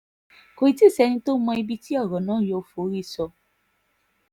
kò tí ì sẹ́ni tó mọ ibi tí ọ̀rọ̀ náà yóò forí sọ